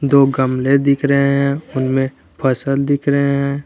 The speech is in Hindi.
दो गमले दिख रहे हैं उनमें फसल दिख रहे हैं।